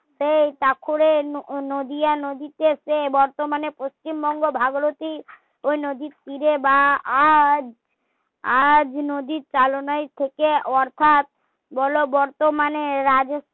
সেই পাখরে নদীয়া নদীতে এসে বর্তমানে পশ্চিমবঙ্গ ভাগীরতি নদীর তীরে বা আজ আজ নদীর চালনা থাকে অর্থাৎ বলো বর্তমানে রাজ্য